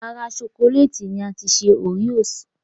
Ara ṣokolẹ́ẹ̀tì ni a ti ṣe oreos